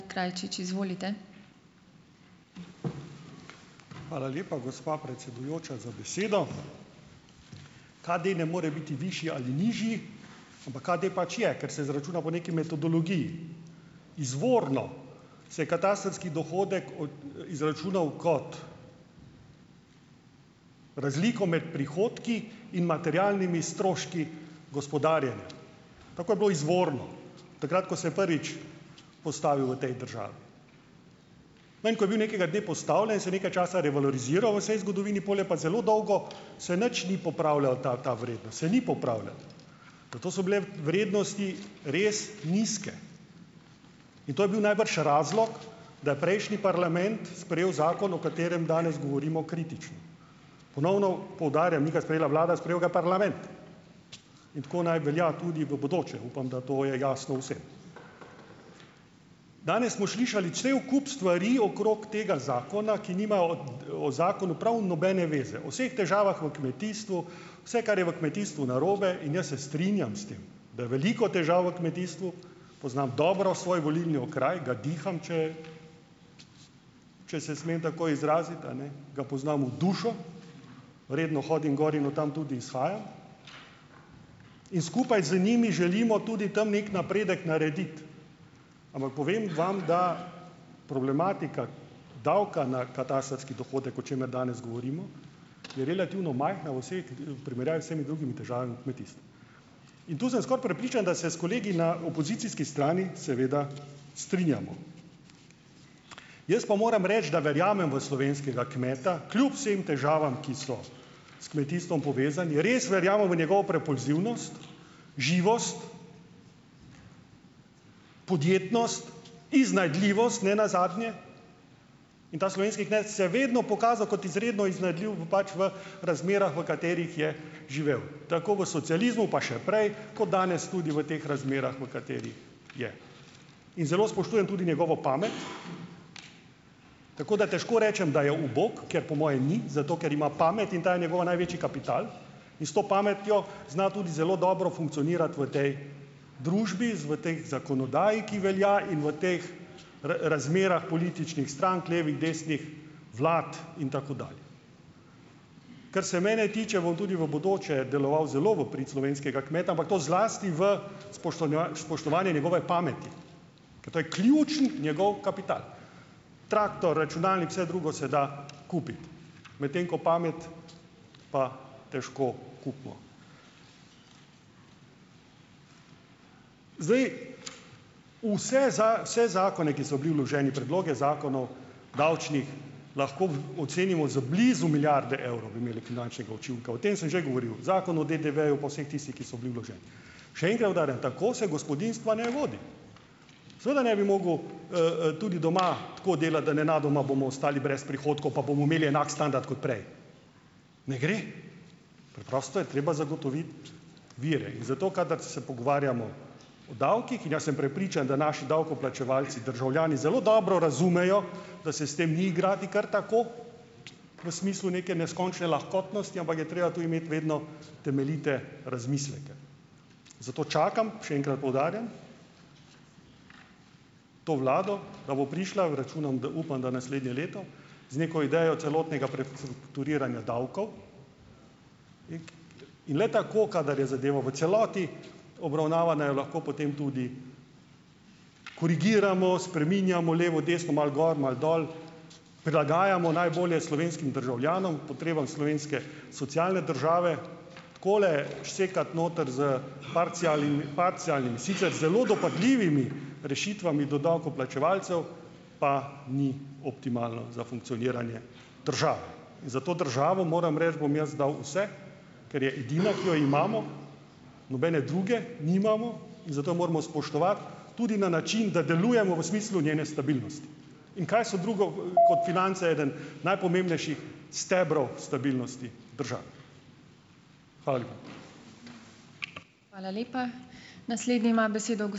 Hvala lepa, gospa predsedujoča, za besedo. KD ne more biti višji ali nižji, ampak KD pač je. Ker se izračuna po nekaj metodologiji. Izvorno se je katastrski dohodek od, izračunal kot razliko med prihodki in materialnimi stroški gospodarjenja. Tako je bilo izvorno. Takrat, ko se je prvič postavil v tej državi. No, in ko je bil nekega dne postavljen, se je nekaj časa revaloriziral v vsej zgodovini, pol je pa zelo dolgo se nič ni popravljal ta ta vrednost se ni popravljala. Pa to so bile vrednosti res nizke. In to je bil najbrž razlog, da je prejšnji parlament sprejel zakon, o katerem danes govorimo kritično. Ponovno poudarjam, ni ga sprejela vlada, sprejel ga je parlament! In tako naj velja tudi v bodoče. Upam, da to je jasno vsem. Danes smo slišali cel kup stvari okrog tega zakona, ki nimajo od, o zakonu prav nobene zveze. O vseh težavah v kmetijstvu, vse, kar je v kmetijstvu narobe, in jaz se strinjam s tem, da je veliko težav v kmetijstvu, poznam dobro svoj volilni okraj, ga diham, če če se smem tako izraziti, eni, ga poznam v dušo, redno hodim gor in od tam tudi izhajam in skupaj z njimi želimo tudi tam nekje napredek narediti. Ampak povem vam, da problematika davka na katastrski dohodek, o čemer danes govorimo, je relativno majhna vsaj, k, v primerjavi vsemi drugimi težavami v kmetijstvu. In tu sem skoraj prepričan, da se s kolegi na opozicijski strani seveda strinjamo. Jaz pa moram reči, da verjamem v slovenskega kmeta, kljub vsem težavam, ki so s kmetijstvom povezane. Jaz res verjamem v njegovo propulzivnost, živost, podjetnost, iznajdljivost nenazadnje, in ta slovenski kmet se je vedno pokazal kot izredno iznajdljiv v, pač v razmerah, v katerih je živel, tako v socializmu pa še prej, kot danes tudi v teh razmerah, v katerih je. In zelo spoštujem tudi njegovo pamet, tako da težko rečem, da je ubog, ker po mojem ni, zato ker ima pamet, in ta je njegov največji kapital in s to pametjo zna tudi zelo dobro funkcionirati v tej družbi, z, v tej zakonodaji, ki velja in v teh razmerah političnih strank, levih, desnih vlad in tako dalje. Kar se mene tiče, bom tudi v bodoče deloval zelo v prid slovenskega kmeta, ampak to zlasti v spoštonja, spoštovanju njegove pameti, ker to je ključni njegov kapital, traktor, računalnik, vse drugo se da kupiti, medtem ko pamet pa težko kupimo. Zdaj, vse za, vse zakone, ki so bili vloženi, predloge zakonov, davčnih, lahko v, ocenimo z blizu milijarde evrov bi imeli finančnega učinka. O tem sem že govoril. Zakon o DDV-ju pa vseh tistih, ki so bili vloženi. Še enkrat poudarjam, tako se gospodinjstva ne vodi. Seveda ne bi mogel, tudi doma tako delati, da nenadoma bomo ostali brez prihodkov, pa bomo imeli enak standard kot prej. Ne gre. Preprosto je treba zagotoviti vire, in zato kadar se pogovarjamo o davkih, in jaz sem prepričan, da naši davkoplačevalci, državljani zelo dobro razumejo, da se s tem ni igrati kar tako, v smislu neke neskončne lahkotnosti, ampak je treba tudi imeti vedno temeljite razmisleke. Zato čakam, še enkrat poudarjam, to vlado, da bo prišla, računam da, upam, da naslednje leto, z neko idejo celotnega prestrukturiranja davkov in le tako, kadar je zadeva v celoti obravnavana, jo lahko potem tudi korigiramo, spreminjamo levo, desno, malo gor, malo dol, prilagajamo najbolje slovenskim državljanom, potrebam slovenske socialne države. Takole sekat noter s parcialnimi, parcialnimi, sicer zelo dopadljivimi rešitvami do davkoplačevalcev, pa ni optimalno za funkcioniranje države. In za to državo, moram reči, bom jaz dal vse, ker je edina, ki jo imamo, nobene druge nimamo in zato moramo spoštovati tudi na način, da delujemo v smislu njene stabilnosti. In kaj so drugo, kot finance, eden najpomembnejših stebrov stabilnosti države. Hvala lepa.